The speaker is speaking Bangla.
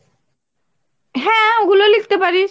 হ্যাঁ ওগুলো লিখতে পারিস।